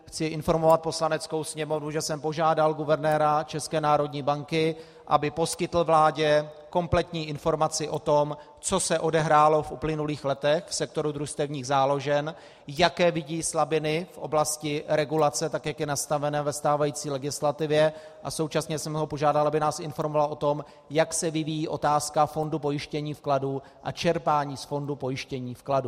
Chci informovat Poslaneckou sněmovnu, že jsem požádal guvernéra České národní banky, aby poskytl vládě kompletní informaci o tom, co se odehrálo v uplynulých letech v sektoru družstevních záložen, jaké vidí slabiny v oblasti regulace, tak jak je nastavena ve stávající legislativě, a současně jsem ho požádal, aby nás informoval o tom, jak se vyvíjí otázka fondu pojištění vkladů a čerpání z fondu pojištění vkladů.